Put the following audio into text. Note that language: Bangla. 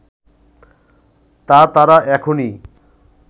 তা তারা এখনি